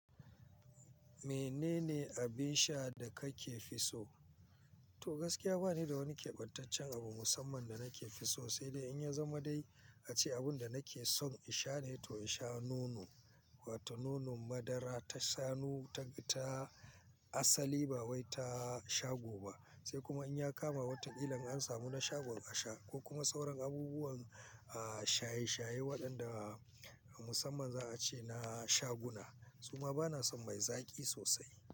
Menene abin sha da kake fi so? To gaskiya bani da wani keɓantaccen abu musamman da nake fi so, sai dai in ya zama dai ace abun da nake son in sha ne to in sha nono, wato nonon madara ta shanu ta, ta asali ba wai ta shago ba. Sai kuma in ya kama wata kila an samu na shagon a sha ko kuma sauran abubuwan, ah, shaye-shaye waɗanda musamman za a ce na shaguna. Su ma bana son mai zaƙi sosai.